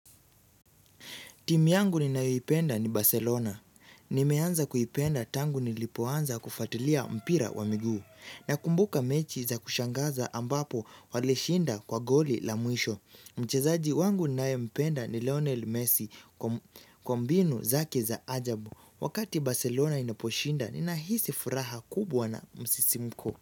Timu yangu ninayoipenda ni Barcelona. Nimeanza kuipenda tangu nilipoanza kufatilia mpira wa miguu. Nakumbuka mechi za kushangaza ambapo walishinda kwa goli la mwisho. Mchezaji wangu ninayempenda ni Lionel Messi kwa mbinu zake za ajabu. Wakati Barcelona inaposhinda, ninahisi furaha kubwa na msisimko.